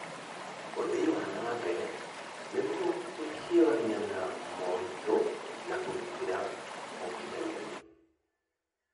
ũthii wa na mbere nĩguo kũhiũrania na moritũ na gũtigĩrĩra ũkinyanĩru.